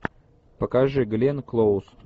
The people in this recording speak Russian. покажи гленн клоуз